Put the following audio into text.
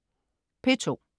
P2: